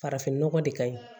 Farafin nɔgɔ de ka ɲi